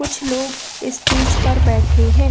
कुछ लोग इस्टेज पर बैठे हैं।